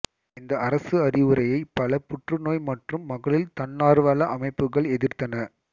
இந்த அரசு அறிவுரையை பல புற்றுநோய் மற்றும் மகளிர் தன்னார்வல அமைப்புக்கள் எதிர்த்தன